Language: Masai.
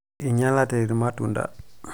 inyalate irmatunda